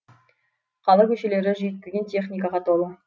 қала көшелері жүйткіген техникаға толы